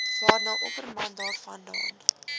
waarna opperman daarvandaan